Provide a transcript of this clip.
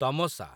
ତମସା